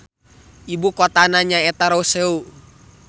Ibu kotana nyaeta Roseau.